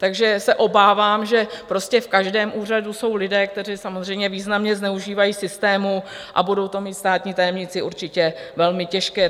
Takže se obávám, že prostě v každém úřadu jsou lidé, kteří samozřejmě významně zneužívají systému, a budou to mít státní tajemníci určitě velmi těžké.